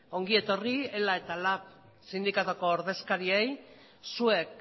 ongi etorri ela eta lab sindikatuko ordezkariei zuek